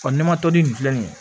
ne ma toli nin filɛ nin ye